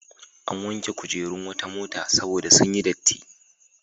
An wanke kujerun wata mota saboda sun yi datti.